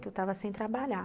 Que eu estava sem trabalhar.